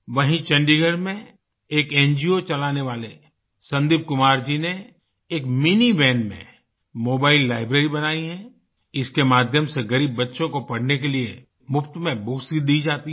वहीं चंडीगढ़ में एक एनजीओ चलाने वाले संदीप कुमार जी ने एक मिनी वन में मोबाइल लाइब्रेरी बनाई है इसके माध्यम से गरीब बच्चों को पढ़ने के लिए मुफ्त में बुक्स दी जाती हैं